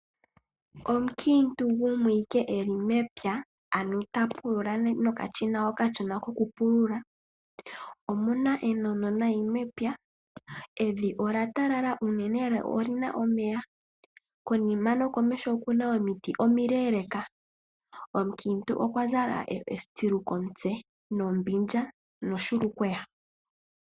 Omukiintu gumwe ike eli mepya, ano ta pulula nokashina okashona kokupulula. Omuna enono nayi mepya, evi ola talala unene lo olina omeya, konima nokomeho okuna omiti omileleka. Omukiintu okwa zala etsilu komutse nombindja nohulukweya.